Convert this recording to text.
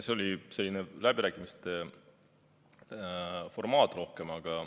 See oli selline läbirääkimiste formaat rohkem.